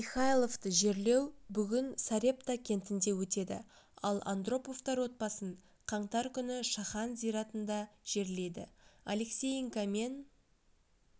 михайловты жерлеу бүгін сарепта кентінде өтеді ал андроповтар отбасын қаңтар күні шахан зиратында жерлейді алексеенко мен